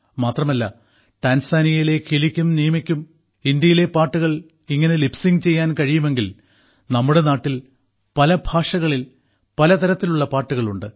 മാത്രമല്ല ടാൻസാനിയയിലെ കിലിക്കും നീമയ്ക്കും ഇന്ത്യയിലെ പാട്ടുകൾ ഇങ്ങനെ ലിപ് സിങ്ക് ചെയ്യാൻ കഴിയുമെങ്കിൽ നമ്മുടെ നാട്ടിൽ പല ഭാഷകളിൽ പല തരത്തിലുള്ള പാട്ടുകളുണ്ട്